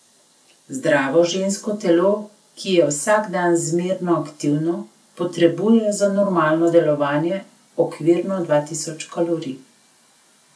Zdravo žensko telo, ki je vsak dan zmerno aktivno, potrebuje za normalno delovanje okvirno dva tisoč kalorij.